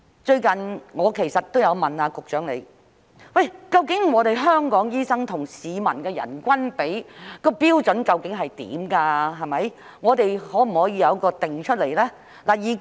最近，我也有向局長提問，關於香港醫生跟市民的人均比，究竟標準是甚麼，可否將之訂定出來呢？